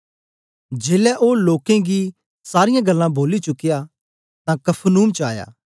जेलै ओ लोकें गी सारीयां गल्लां बोली चुकया तां कफरनहूम च आया